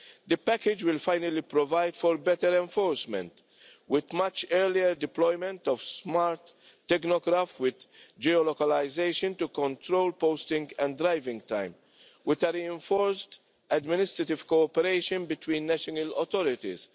The package will finally provide for better enforcement with much earlier deployment of smart tachographs with geo localisation to control posting and driving time with reinforced administrative cooperation between national authorities